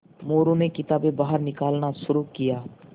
मोरू ने किताबें बाहर निकालना शुरू किया